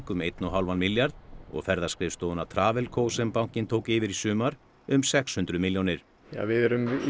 um einn og hálfan milljarð og ferðaskrifstofunnar Travelco sem bankinn tók yfir í sumar um sex hundruð milljónir við erum